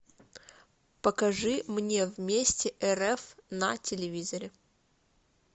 покажи мне вместе рф на телевизоре